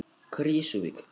Krýsuvík